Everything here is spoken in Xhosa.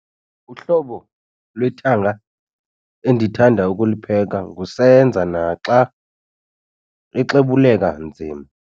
Uhlobo lwethanga endithanda ukulupheka ngusenza naxa exobuleka nzima.